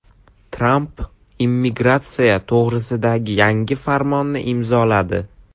Tramp immigratsiya to‘g‘risidagi yangi farmonni imzoladi.